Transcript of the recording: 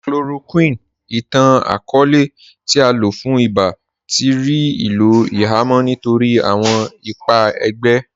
Chloroquine, ìtàn-akọọlẹ̀ tí à lọ fún ìbá, tí rí ilò ihamọ̀̀ nítorí awọn ìpà ègbé.